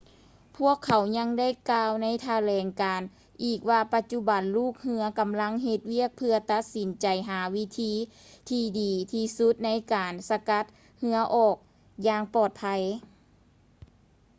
ພວກເຂົາຍັງໄດ້ກ່າວໃນຖະແຫຼງການອີກວ່າ ປະຈຸບັນລູກເຮືອກຳລັງເຮັດວຽກເພື່ອຕັດສິນໃຈຫາວິທີທີ່ດີທີ່ສຸດໃນການສະກັດເຮືອອອກຢ່າງປອດໄພ